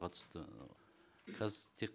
қатысты қазір тек